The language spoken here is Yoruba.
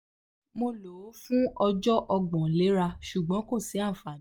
mo lo o fun ọjọ ogbon lera ṣugbọn ko si anfani